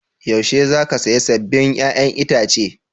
Yaushe za ka saya sabbin 'ya'yan itace?